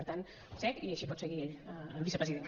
per tant sec i així pot seguir ell el vicepresident